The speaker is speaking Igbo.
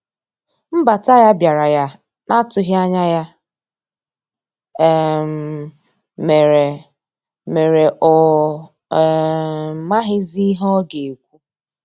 Nbata ya biara ya na atughi anya ya um mere mere ọ um maghizi ihe ọga ekwụ.